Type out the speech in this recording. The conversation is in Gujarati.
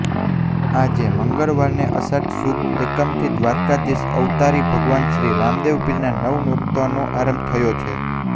આજે મંગળવારને અષાઢ સુદ એકમથી દ્વારકાધીશ અવતારી ભગવાન શ્રી રામદેવપીરના નવ નોરતાનો આરંભ થયો છે